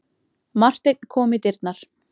Marteinn kom í dyrnar.